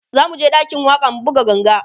zamuje ɗakin waƙa mu buga ganga